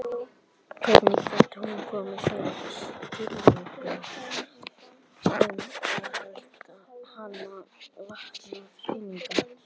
Hvernig gat hún komið þeim í skilning um að hana vantaði peninga?